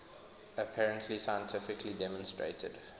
apparently scientifically demonstrated